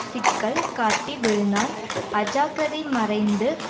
சிக்கல் காட்டி விழுந்தான் அஜாக்கிரதை மறைந்து